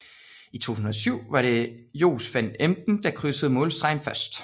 I 2007 var det Jos van Emden der krydsede målstregen først